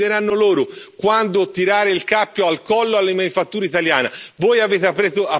i cinesi, decideranno loro quando tirare il cappio al collo alla manifattura italiana.